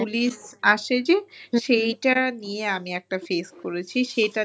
police আসে যে, সেইটা নিয়ে আমি একটা face করেছি। সেইটা নিয়ে